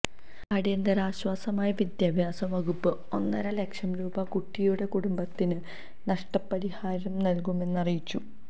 അടിയന്തിരാശ്വാസമായി വിദ്യാഭ്യാസ വകുപ്പ് ഒന്നര ലക്ഷം രൂപ കുട്ടിയുടെ കുടുംബത്തിന് നഷ്ടപരിപാരം നല്കുമെന്നറിയിച്ചു